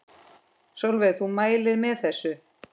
Sólveig: Þú mælir með þessu?